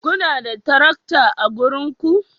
Kuna da tarakta a garinku?